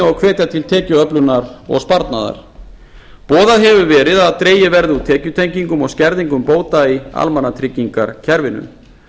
og hvetja til tekjuöflunar og sparnaðar boðað hefur verið að dregið verði úr tekjutengingum og skerðingum bóta í almannatryggingakerfinu